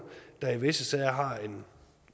der i visse sager har en